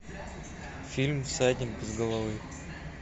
фильм всадник без головы